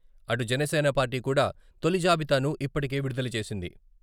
అటు జనసేన పార్టీ కూడా తొలి జాబితాను ఇప్పటికే విడుదల చేసింది.